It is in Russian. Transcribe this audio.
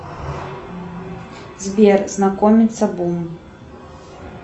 сбер знакомиться бум